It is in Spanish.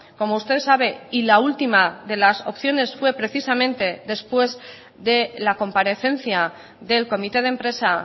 como usted sabe y la última de las opciones fue precisamente después de la comparecencia del comité de empresa